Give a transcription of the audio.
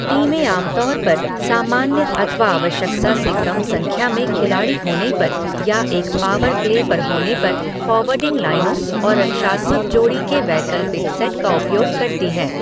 टीमें आम तौर पर सामान्य अथवा आवश्यकता से कम संख्या में खिलाड़ी होने पर या एक पावर प्ले पर होने पर फॉरवर्डिंग लाइनों और रक्षात्मक जोड़ी के वैकल्पिक सेट का उपयोग करती हैं।